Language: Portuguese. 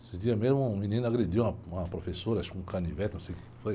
Esses dias mesmo um menino agrediu uma, uma professora, acho que com canivete, não sei o que foi.